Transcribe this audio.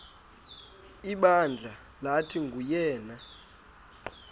ibandla lathi nguyena